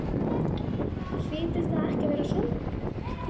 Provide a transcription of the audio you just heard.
Hlýtur það ekki að vera sorglegt?